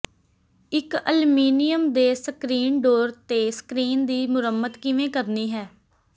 ਇੱਕ ਅਲਮੀਨੀਅਮ ਦੇ screen door ਤੇ ਸਕ੍ਰੀਨ ਦੀ ਮੁਰੰਮਤ ਕਿਵੇਂ ਕਰਨੀ ਹੈ